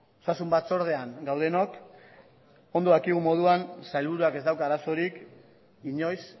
osasun batzordean gaudenok ondo dakigun moduan sailburuak ez dauka arazorik inoiz